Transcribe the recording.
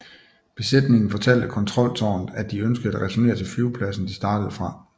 Besætningen fortalte kontroltårnet at de ønskede at returnere til flyvepladsen de startede fra